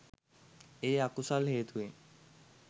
ඒ අකුසල් හේතුවෙන්